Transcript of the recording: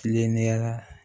Kilenlenya